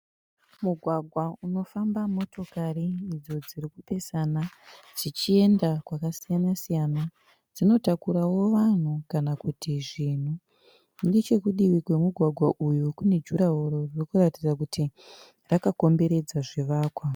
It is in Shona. Mugwagwa unofamba motokari idzo dziri kupesana dzichienda kwakasiya-siyana Dzinotakurawo vanhu kana kuti zvinhu. Nechekudivi kwemugwagwa uyu kune juraworo ririkuratidza kuti rakakomberedza zvivakwa.